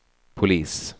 polis